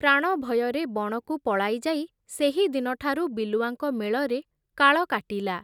ପ୍ରାଣଭୟରେ ବଣକୁ ପଳାଇଯାଇ, ସେହିଦିନଠାରୁ ବିଲୁଆଙ୍କ ମେଳରେ କାଳ କାଟିଲା ।